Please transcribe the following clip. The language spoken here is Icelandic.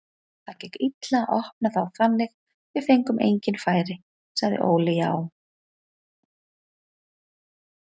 Það gekk illa að opna þá þannig við fengum engin færi, sagði Óli Jó.